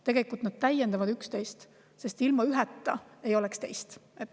Tegelikult nad täiendavad üksteist, sest ilma üheta ei oleks teist.